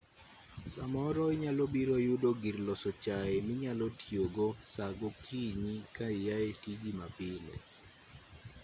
samoro inyalobiro yudo gir loso chai minyalo tiyogo saa gokinyi ka iae tiji mapile